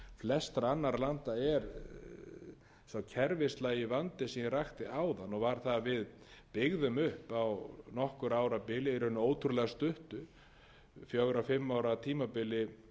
flestra annarra landa er sá kerfislæga vandi sem ég rakti áðan og var það að við byggðum upp á nokkurra ára bili raunar ótrúlega stuttu fjórar til fimm ára tímabili